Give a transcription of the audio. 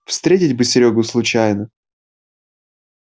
встретить бы серёгу случайно